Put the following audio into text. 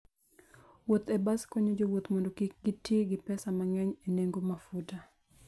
Wuoth e bas konyo jowuoth mondo kik giti gi pesa mang'eny e nengo mafuta.